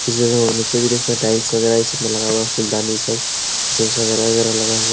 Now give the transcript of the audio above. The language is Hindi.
जो है नीचे भी देख सकते हैं टाइल्स वगैरह इ सब में लगा हुआ फूलदानी सब --